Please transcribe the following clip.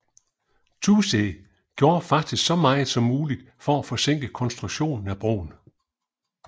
Toosey gjorde faktisk så meget som muligt for at forsinke konstruktionen af broen